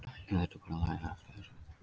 Menn þyrftu bara að læra að lifa með þessu.